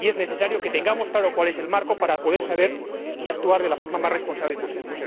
Y es necesario que tengamos claro cuál es el marco, para poder saber y actuar de la forma más responsable posible.